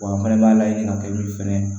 an fɛnɛ b'a layɛ ka kɛ fɛnɛ